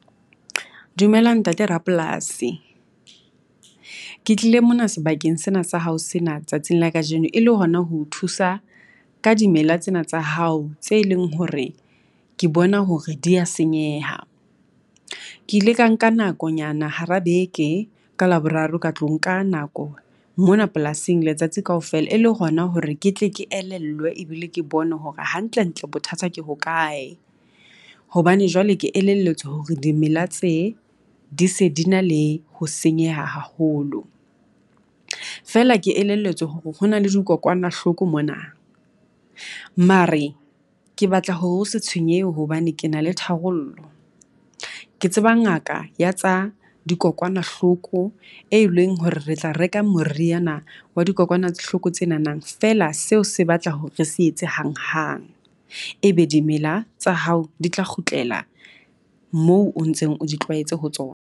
Dumela ntate rapolasi, ke tlile mona sebakeng sena sa hao sena tsatsing la kajeno e le hona ho o thusa ka dimela tsena tsa hao, tse leng hore ke bona hore di ya senyeha. Ke ile ka nka nakonyana hara beke ka Laboraro ka tlo nka nako mona polasing letsatsi kaofela e le hona hore ke tle ke elellwe, ebile ke bone hore hantlentle bothata ke hokae. Hobane jwale ke elelletswe hore dimela tse di se di na le ho senyeha haholo. Feela ke elelletswe ho na le dikokwanahloko mona. Mare ke batla hore se tshwenyehe hobane ke na le tharollo. Ke tseba ngaka ya tsa dikokwanahloko e leng hore re tla reka moriana wa dikokwanahloko tsenanang feela seo se batla hore re se etse hanghang, e be dimela tsa hao di tla kgutlela moo o ntseng di tlwaetse ho tsona.